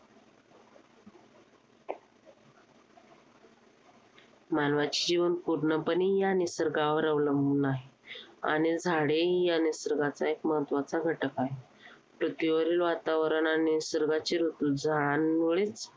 मानवाची जीवन पूर्णपणे या निसर्गावर अवलंबून आहे. आणि झाडे या निसर्गाचा एक महत्त्वाचा घटक आहेत. पृथ्वीवरील वातावरण आणि निसर्गाचे ऋतू